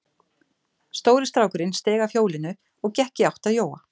Stóri strákurinn steig af hjólinu og gekk í átt að Jóa.